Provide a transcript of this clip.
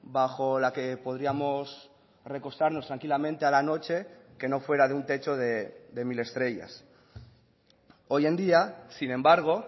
bajo la que podríamos recostarnos tranquilamente a la noche que no fuera de un techo de mil estrellas hoy en día sin embargo